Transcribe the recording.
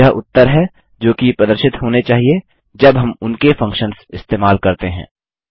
यह उत्तर हैं जो कि प्रदर्शित होने चाहिए जब हम उनके फंक्शन्स इस्तेमाल करते हैं